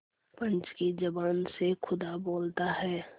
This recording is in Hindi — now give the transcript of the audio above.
पंच की जबान से खुदा बोलता है